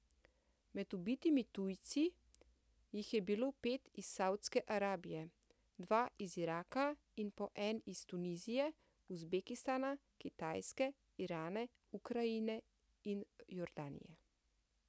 Med ubitimi tujci jih je bilo pet iz Savdske Arabije, dva iz Iraka in po en iz Tunizije, Uzbekistana, Kitajske, Irana, Ukrajine in Jordanije.